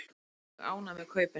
Við erum mjög ánægð með kaupin.